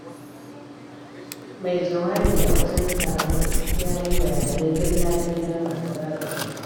Mai jawabi a wajen taron ya yi bayanai dalla-dalla masu ratsa jiki.